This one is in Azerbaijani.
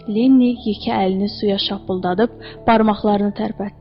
Lenni yekə əlini suya şapıldadıb barmaqlarını tərpətdi.